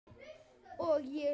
Ég er eng